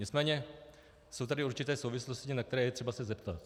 Nicméně jsou tady určité souvislosti, na které je třeba se zeptat.